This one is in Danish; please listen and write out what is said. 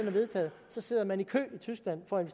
er vedtaget sidder man i kø i tyskland for at